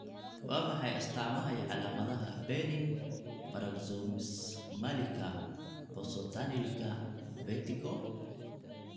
Waa maxay astamaha iyo calaamadaha benign paroxysmalika positionalika vertigo?